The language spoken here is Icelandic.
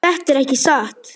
Má ég tala? spyr Eyþór.